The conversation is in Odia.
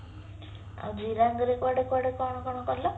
ଆଉ ଜିରାଙ୍ଗ ରେ କୁଆଡେ କୁଆଡ କଣ କଣ କଲ